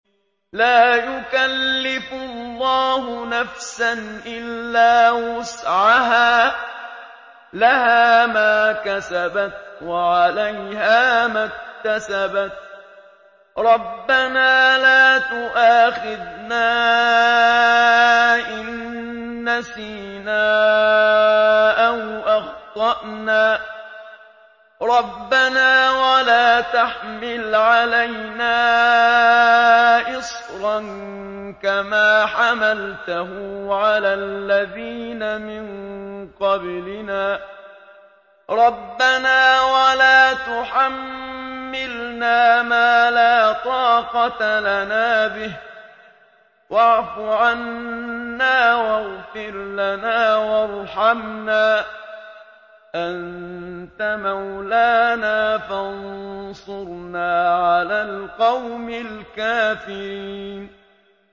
لَا يُكَلِّفُ اللَّهُ نَفْسًا إِلَّا وُسْعَهَا ۚ لَهَا مَا كَسَبَتْ وَعَلَيْهَا مَا اكْتَسَبَتْ ۗ رَبَّنَا لَا تُؤَاخِذْنَا إِن نَّسِينَا أَوْ أَخْطَأْنَا ۚ رَبَّنَا وَلَا تَحْمِلْ عَلَيْنَا إِصْرًا كَمَا حَمَلْتَهُ عَلَى الَّذِينَ مِن قَبْلِنَا ۚ رَبَّنَا وَلَا تُحَمِّلْنَا مَا لَا طَاقَةَ لَنَا بِهِ ۖ وَاعْفُ عَنَّا وَاغْفِرْ لَنَا وَارْحَمْنَا ۚ أَنتَ مَوْلَانَا فَانصُرْنَا عَلَى الْقَوْمِ الْكَافِرِينَ